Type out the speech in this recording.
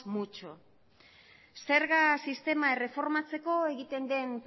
mucho zerga sistema erreformatzeko egiten den